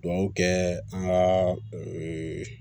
kɛ an ka